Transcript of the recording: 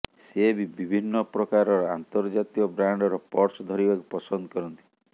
ସେ ବି ବିଭିନ୍ନ ପ୍ରକାରର ଅନ୍ତର୍ଜାତୀୟ ବ୍ରାଣ୍ଡର ପର୍ସ ଧରିବାକୁ ପସନ୍ଦ କରନ୍ତି